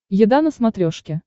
еда на смотрешке